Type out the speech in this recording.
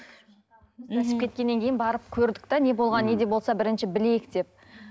ісіп кеткеннен кейін барып көрдік те не болғанын не де болса бірінші білейік деп